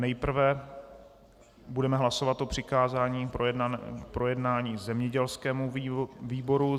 Nejprve budeme hlasovat o přikázání projednání zemědělskému výboru.